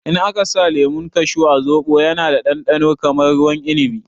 In aka sa lemun kashu a zobo ya na ɗanɗano kamar ruwan inibi